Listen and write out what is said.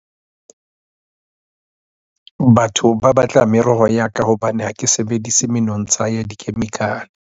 Batho ba batla meroho ya ka hobane ha ke sebedisi menontsha ya dikhemikhale.